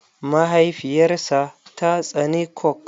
Mahaifiyar sa ta tsane coke.